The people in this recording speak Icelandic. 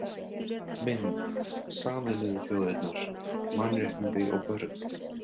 Mynd: Sameinuðu þjóðirnar: Mannréttindi og börn